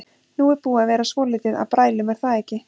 Nú er búið að vera svolítið af brælum er það ekki?